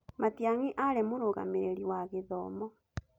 Matiangi aarĩ mũrũgamĩrĩri wa gĩthomo.